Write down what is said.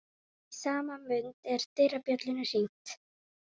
Í sama mund er dyrabjöllunni hringt.